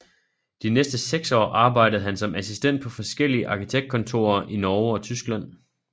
De næste seks år arbejdede han som assistent på forskellige arkitektkontorer i Norge og Tyskland